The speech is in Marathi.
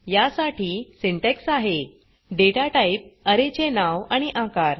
या साठी सिंटॅक्स आहे data टाइप अरे चे नाव आणि आकार